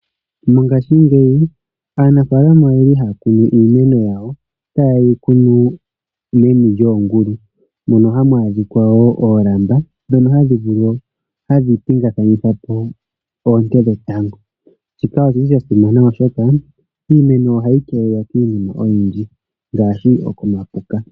Mongashingeyi aanafalama oyeli haya kunu iimeno yawo. Taya kunu meni lyoongulu mono hamu adhikwa wo oolamba dhono hadhi pingakanitha po oonte dhetango. Shika oshili sha simana oshoka iimeno ohayi keelelwa kiinima ooyindji ngaashi okomapuka.